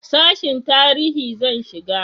sashin tarihi zan shiga